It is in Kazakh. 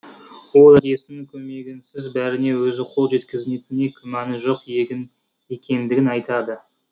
ол әкесінің көмегінсіз бәріне өзі қол жеткізетініне күмәні жоқ егін екендігін айтады